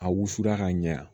A wusula ka ɲɛ wa